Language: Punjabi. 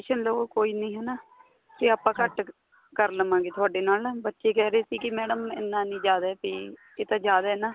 ਲੋ ਕੋਈ ਨੀਂ ਹਨਾ ਤੇ ਆਪਾਂ ਘੱਟ ਕਰ ਲਵਾਂਗੇ ਤੁਹਾਡੇ ਨਾਲ ਬੱਚੇ ਕਹਿ ਰਹੇ ਸੀ ਕੀ madam ਇੰਨਾ ਨੀਂ ਜਿਆਦਾ ਕੀ ਇਹ ਤਾਂ ਜਿਆਦਾ ਏ ਨਾ